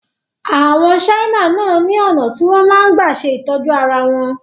Àwọn Chinese náà ni ọ̀nà tí wọn máa ń gbà ṣe ìtọ́jú arawọn